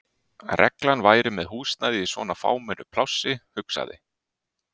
reglan væri með húsnæði í svona fámennu plássi, hugsaði